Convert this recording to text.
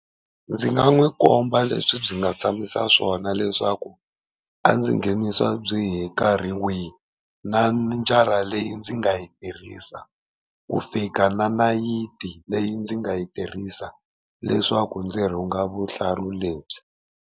Ndzi nga n'wi komba leswi byi nga tshamisa swona leswaku a ndzi nghenisa byi hi nkarhi wihi, na njara leyi ndzi nga yi tirhisa, ku fika na nayiti leyi ndzi nga yi tirhisa leswaku ndzi rhunga vuhlalu lebyi.